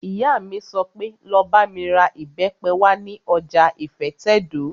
Ìyá mi sọ pé, 'Lọ bá mi ra ìbẹ́pẹ wá ní ọjà ìfẹ́tẹ̀dó!